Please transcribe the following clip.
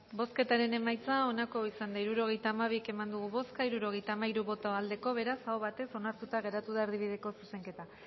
bozketaren emaitza onako izan da hirurogeita hamabi eman dugu bozka hirurogeita hamairu boto aldekoa beraz aho batez onartuta gelditu da erdibideko zuzenketa